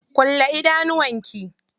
Kulle idanuwan ki.